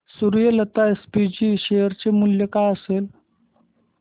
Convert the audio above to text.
Suryalata SPG share चे मूल्य काय असेल